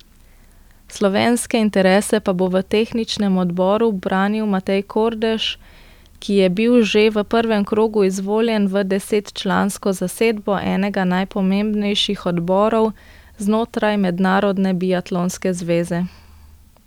Slovenske interese pa bo v tehničnem odboru branil Matej Kordež, ki je bil že v prvem krogu izvoljen v desetčlansko zasedbo enega najpomembnejših odborov znotraj Mednarodne biatlonske zveze.